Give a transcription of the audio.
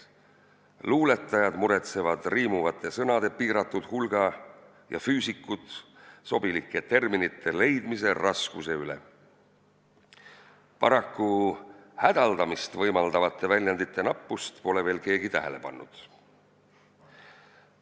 Luuletajad muretsevad riimuvate sõnade piiratud hulga ja füüsikud sobilike terminite leidmise raskuse üle, paraku hädaldamist võimaldavate väljendite nappust pole veel keegi tähele pannud.